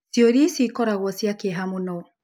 Ciũria icio ikoragwo cia kĩeha mũno.